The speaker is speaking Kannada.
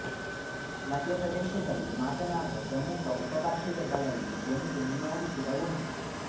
ಮಧ್ಯಪ್ರದೇಶದಲ್ಲಿ ಮಾತನಾಡುವ ಪ್ರಮುಖ ಉಪಭಾಷೆಗಳಲ್ಲಿ ಒಂದು ನಿಮಾಡಿ ಕೂಡ ಒಂದು